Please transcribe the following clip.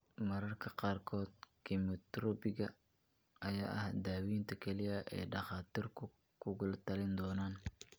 Mararka qaarkood kiimoterabiga ayaa ah daawaynta kaliya ee dhakhtarku kugula talin doono.